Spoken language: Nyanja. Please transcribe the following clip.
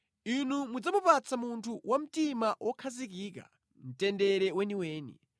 Inu mudzamupatsa munthu wa mtima wokhazikika mtendere weniweni.